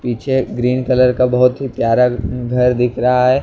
पीछे green colour का बहुत ही प्यारा घर दिख रहा हैं।